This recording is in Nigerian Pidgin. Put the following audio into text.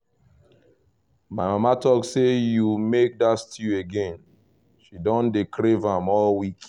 my mama talk say you make that stew again — she don dey crave am all week